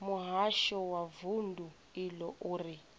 muhasho wa vundu iḽo uri